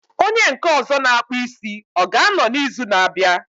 Onye nke ọzọ na akpụ isi, ọ ga anọ na izu na abịa?